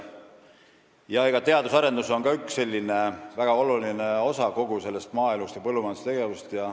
Jah, eks teadus- ja arendustegevus on ka üks väga oluline osa kogu maaelust ja põllumajandusest.